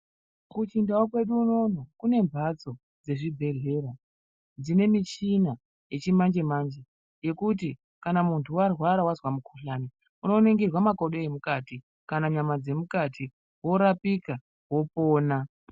Kuchindau kwedu unono kunemhatso dzezvibhehlera dzine michina yechimanje manje yekuti kana mundu warwara wazwa mukuhlani unoningirwa makodo emukati kana nyama dzemukati worapika wopona